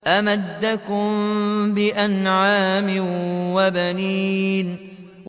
أَمَدَّكُم بِأَنْعَامٍ وَبَنِينَ